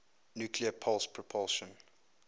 nuclear pulse propulsion